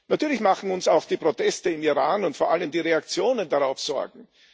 Natürlich machen uns auch die Proteste im Iran und vor allem die Reaktionen darauf Sorgen.